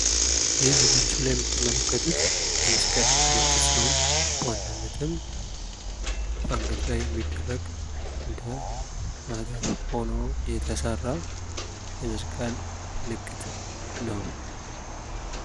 ይህ በምስሉ ላይ የምትመለከቱት የመሰስቀል ምልክት ሲሆን በ አንገት ላይ የሚደረግ መስቀል ነው።